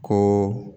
Ko